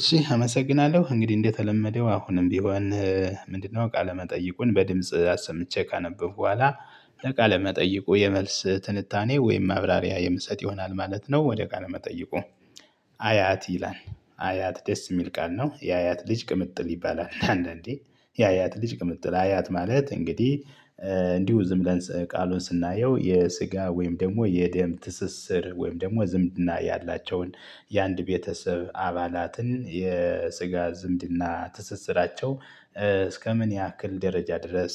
እሺ አመሰግናለሁ እንግዲህ እንደተለመደው አሁንም ቢሆን? ምንድነው ቃለመጠይቁን በድምጽ አሰምቼ ካነበብኩ በኋላ ለቃለ መጠይቁ የመልስ ትንታኔ ወይም ማብራሪያ የምሰጥ ይሆናል ማለት ነው ወደ ቃለ መጠይቁ። አያት ይላል አያት ደስ የሚል ቃል ነው የአያት ልጅ ቅምጥል ይባላል። አንዳንዴ የአያት ልጅ ቅምጥል አያት ማለት እንግዲህ። እንዲሁ ዝም ብለን ቃሉን ስናየው የስጋ ወይም ደግሞ የደም ትስስር ወይም ደግሞ ዝምድና ያላቸውን የአንድ ቤተሰብ አባላትን የስጋ ዝምድና ትስስራቸው እስከምን ያክል ደረጃ ድረስ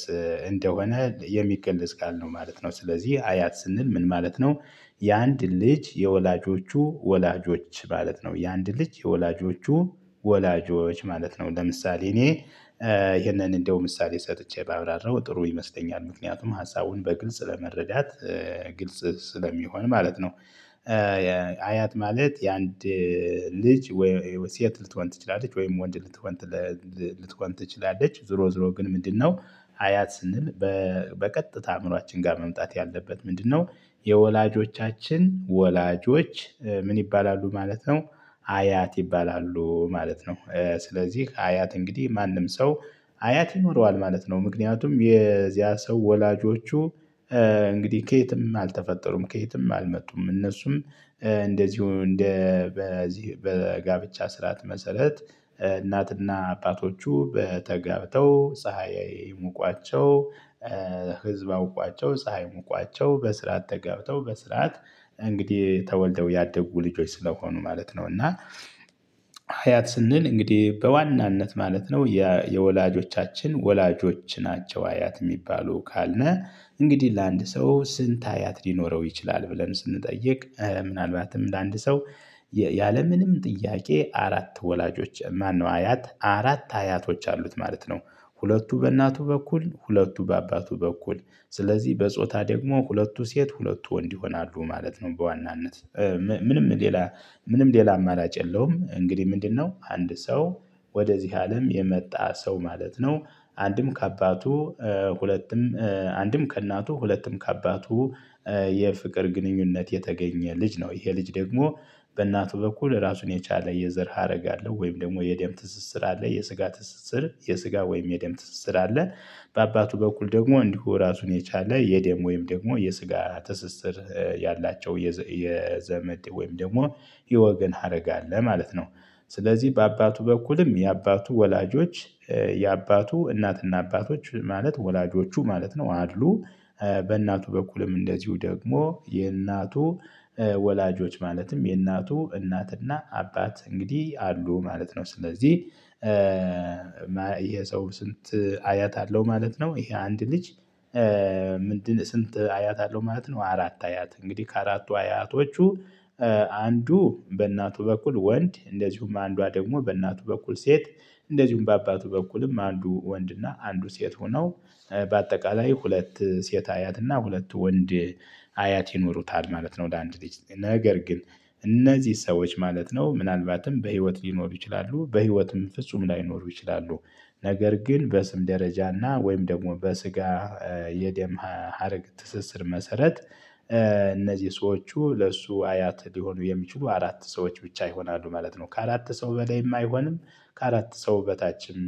እንደሆነ የሚገለጽ ቃል ነው ማለት ነው። ስለዚህ አያት ስንል ምን ማለት ነው? የአንድ ልጅ የወላጆቹ ወላጆች ማለት ነው። የአንድ ልጅ የወላጆቹ ወላጆች ማለት ነው። ለምሳሌ እኔ ይሄንን እንደው ምሳሌ ሰጥቼ ባብራራው ጥሩ ይመስለኛል ምክንያቱም ሀሳቡን በግልጽ ለመረዳት ግልጽ ስለሚሆን ማለት ነው። አያት ማለት የአንድ ልጅ ሴት ልትሆን ትችላለች ወይም ወንድ ልትሆን ትችላለች። ዞሮ ዞሮ ግን ምንድነው? አያት ስንል በቀጥታ አእምሯችን ጋር መምጣት ያለበት ምንድነው? የወላጆቻችን ወላጆች ምን ይባላሉ ማለት ነው። አያት ይባላሉ ማለት ነው ስለዚህ አያት እንግዲህ ማንም ሰው አያት ይኖረዋል ማለት ነው። ምክንያቱም የዚያ ሰው ወላጆቹ እንግዲህ ከየትም አልተፈጠሩም ከየትም አልመጡም። እነሱም እንደዚሁ እንደ በዚህ በጋብቻ ስርዓት መሰረት እናትና አባቶቹ ተጋብተው ፀሀይ ሙቋቸው። ህዝብ አውቋቸው ፀሀይም ሙቋቸው በስርዓት ተጋብተው በስርዓት እንግዲህ ተወልደው ያደጉ ልጆች ስለሆኑ ማለት ነው። እና አያት ስንል እንግዲህ በዋናነት ማለት ነው የወላጆቻችን ወላጆች ናቸው። አያት የሚባሉ ካልነ እንግዲህ ለአንድ ሰው ስንት አያት ሊኖረው ይችላል። ብለን ስንጠይቅ ምናልባትም እንደ አንድ ሰው ያለምንም ጥያቄ አራት ወላጆች ማነው አያት አራት አያቶች አሉት ማለት ነው። ሁለቱ በእናቱ በኩል ሁለቱ በአባቱ በኩል ስለዚህ በጾታ ደግሞ ሁለቱ ሴት ሁለቱ ወንድ ይሆናሉ ማለት ነው። በዋናነት ምንም ሌላ አማራጭ የለውም። እንግዲህ ምንድነው? አንድ ሰው ወደዚህ አለም የመጣ ሰው ማለት ነው። አንድም ከአባቱ ሁለትም አንድም ከእናቱ ሁለትም ከአባቱ የፍቅር ግንኙነት የተገኘ ልጅ ነው። ይሄ ልጅ ደግሞ በእናቱ በኩል ራሱን የቻለ የዘር ሀረግ አለው ወይም ደግሞ የደም ትስስር አለ የስጋ ትስስር የስጋ ወይም የደም ትስስር አለ። በአባቱ በኩል ደግሞ እንዲሁ ራሱን የቻለ የደም ወይም ደግሞ የስጋ ትስስር ያላቸው የዘመድ ወይም ደግሞ የወገን ሀረግ አለ ማለት ነው። ስለዚህ በአባቱ በኩልም የአባቱ ወላጆች የአባቱ እናትና አባቶች ማለት ወላጆቹ ማለት ነው። አድሉ በእናቱ በኩልም እንደዚሁ ደግሞ የእናቱ ወላጆች ማለትም የእናቱ እናትና አባት እንግዲህ አሉ ማለት ነው። ስለዚህ ይሄ ሰው ስንት አያት አለው ማለት ነው። ይሄ አንድ ልጅ ምንድነው? ስንት አያት አለው ማለት ነው። አራት አያት እንግዲህ ከአራቱ አያቶቹ አንዱ በእናቱ በኩል ወንድ እንደዚሁም አንዷ ደግሞ በእናቱ በኩል ሴት እንደዚሁም በአባቱ በኩልም አንዱ ወንድና አንዱ ሴት ሆኖ በአጠቃላይ ሁለት ሴት አያትና ሁለት ወንድ አያት ይኖሩታል ማለት ነው። ወደ አንድ ልጅ ነገር ግን እነዚህ ሰዎች ማለት ነው ምናልባትም በህይወት ሊኖሩ ይችላሉ በህይወትም ፍጹም ላይኖር ይችላሉ። ነገር ግን በስም ደረጃና ወይም ደግሞ በስጋ የደም ሀረግ ትስስር መሰረት እነዚህ ሰዎቹ ለእሱ አያት ሊሆኑ የሚችሉ አራት ሰዎች ብቻ ይሆናሉ ማለት ነው። ከአራት ሰው በላይም አይሆንም። ከአራት ሰው በታችም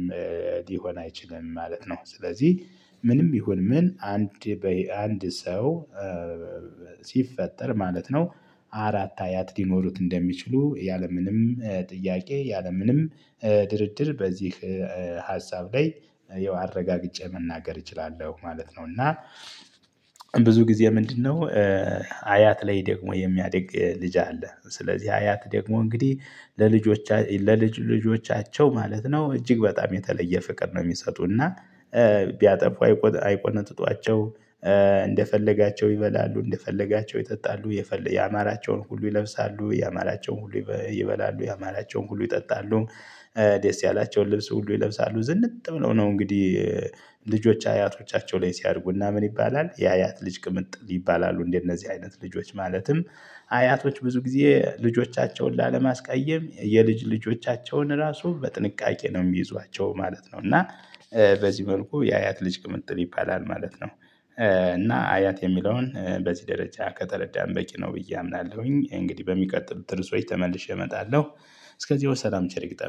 ሊሆን አይችልም ማለት ነው። ስለዚህ ምንም ይሁን ምን አንድ በአንድ ሰው ሲፈጠር ማለት ነው። አራት አያት ሊኖሩት እንደሚችሉ ያለምንም ጥያቄ ያለምንም ድርድር በዚህ ሀሳብ ላይ ይኸው አረጋግጬ መናገር እችላለሁ ማለት ነው። እና ብዙ ጊዜ ምንድነው? አያት ላይ ደግሞ የሚያድግ ልጅ አለ ስለዚህ አያት ደግሞ እንግዲህ ለልጆቻቸው ለልጅ ልጆቻቸው ማለት ነው እጅግ በጣም የተለየ ፍቅር ነው። የሚሰጡና ቢያጠፉ አይቆነጥጧቸው። እንደፈለጋቸው ይበላሉ እንደፈለጋቸው ይጠጣሉ የፈለገ ያማራቸውን ሁሉ ይለብሳሉ ያማራቸውን ሁሉ ይበላሉ ያማራቸውን ሁሉ ይጠጣሉ። ደስ ያላቸውን ልብስ ሁሉ ይለብሳሉ ዝንጥ ብለው ነው። እንግዲህ ልጆች አያቶቻቸው ላይ ሲያድጉ እና ምን ይባላል የአያት ልጅ ቅምጥል ይባላሉ እንደነዚህ አይነት ልጆች ማለትም አያቶች ብዙ ጊዜ ልጆቻቸውን ላለማስቀየም የልጅ ልጆቻቸውን ራሱ በጥንቃቄ ነው የሚይዟቸው ማለት ነው። እና በዚህ መልኩ የአያት ልጅ ቅምጥል ይባላል ማለት ነው። እና አያት የሚለውን በዚህ ደረጃ ከተረዳን በቂ ነው ብዬ አምናለሁኝ እንግዲህ በሚቀጥሉት እርሶች ተመልሼ እመጣለሁ። እስከዚያው ሰላም ቸር ይግጠመን